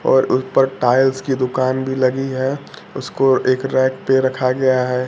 और उस पर टाइल्स की दुकान भी लगी है उसको एक रैक पे रखा गया है।